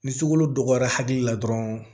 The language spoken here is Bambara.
Ni sukolo dogora hakili la dɔrɔn